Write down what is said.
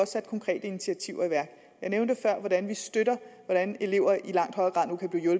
sat konkrete initiativer i værk jeg nævnte før at vi støtter hvordan elever i langt højere grad nu kan blive